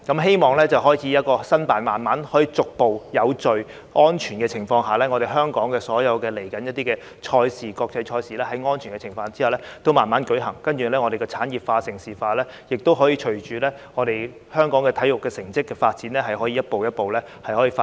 希望香港可以逐步在有序和安全的情況下，申辦一些國際賽事，然後在安全的情況下慢慢舉行，讓產業化和盛事化可以隨着香港體育成績的發展逐步發展。